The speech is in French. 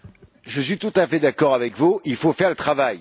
Je suis tout à fait d'accord avec vous, il faut faire le travail.